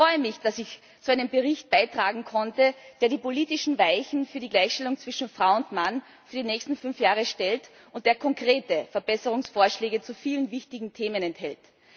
Ich freue mich, dass ich zu einem Bericht beitragen konnte, der die politischen Weichen für die Gleichstellung zwischen Frau und Mann für die nächsten fünf Jahre stellt und der konkrete Verbesserungsvorschläge zu vielen wichtigen Themen enthält.